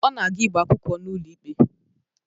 Ọ na-aga ịgba akwụkwọ n'ụlọ ikpe